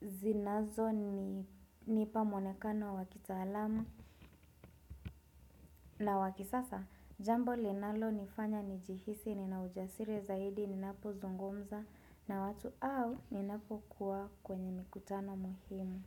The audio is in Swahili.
zinazo nipamwonekano wa kitaalamu na wa kisasa Jambo linalo nifanya nijihisi ninaujasiri zaidi ninapo zungomza na watu au ninapo kuwa kwenye mikutano muhimu.